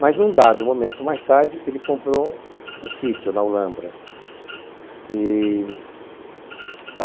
Mas num dado momento, mais tarde, ele comprou um sítio na Ulambra.